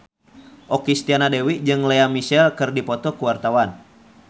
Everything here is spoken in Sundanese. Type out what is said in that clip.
Okky Setiana Dewi jeung Lea Michele keur dipoto ku wartawan